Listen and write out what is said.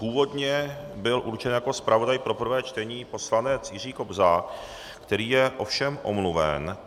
Původně byl určen jako zpravodaj pro prvé čtení poslanec Jiří Kobza, který je ovšem omluven.